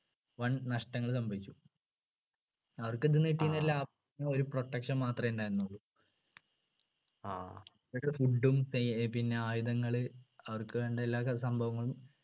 വൻ നഷ്ടങ്ങൾ സംഭവിച്ചു അവർക്ക് എന്ത്ന്ന് കിട്ടിയില്ലാ ആ ഒരു protection മാത്രെ ഉണ്ടായിരുന്നുള്ളൂ food ഉം സൈ പിന്നെ ആയുധങ്ങൾ അവർക്ക് വേണ്ട എല്ലാ ചെ സംഭവങ്ങളും